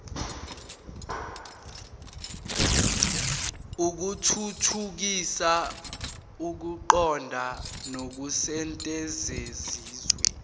ukuthuthukisa ukuqonda nokusetshenziswa